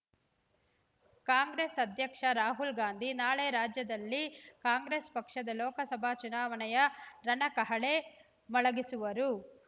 ಕಾಂಗ್ರೆಸ್ ಅಧ್ಯಕ್ಷ ರಾಹುಲ್‌ಗಾಂಧಿ ನಾಳೆ ರಾಜ್ಯದಲ್ಲಿ ಕಾಂಗ್ರೆಸ್ ಪಕ್ಷದ ಲೋಕಸಭಾ ಚುನಾವಣೆಯ ರಣಕಹಳೆ ಮೊಳಗಿಸುವರು